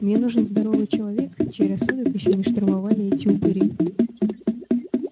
мне нужен здоровый человек чей рассудок ещё не штурмовали эти упыри